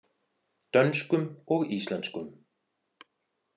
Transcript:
Dönskum og íslenskum.